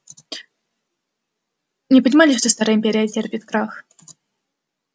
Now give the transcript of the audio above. не понимали что старая империя терпит крах